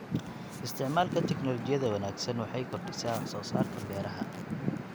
Isticmaalka tignoolajiyada wanaagsan waxay kordhisaa wax soo saarka beeraha.